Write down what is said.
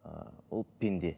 ыыы ол пенде